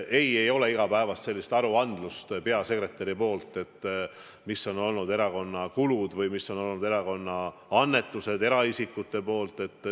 Ei, ei ole igapäevast sellist aruandlust peasekretärilt, mis on olnud erakonna kulud või mis on olnud annetused eraisikutelt.